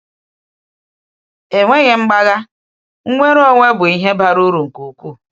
Enweghị mgbagha, nnwere onwe bụ ihe bara uru nke ukwuu.